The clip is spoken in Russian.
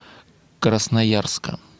красноярска